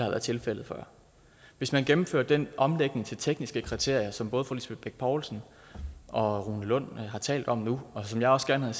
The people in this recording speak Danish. været tilfældet før hvis man gennemførte den omlægning til tekniske kriterier som både fru lisbeth bech poulsen og rune lund har talt om nu og som jeg også gerne